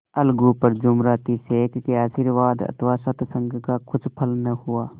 अलगू पर जुमराती शेख के आशीर्वाद अथवा सत्संग का कुछ फल न हुआ